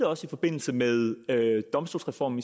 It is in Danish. også i forbindelse med domstolsreformen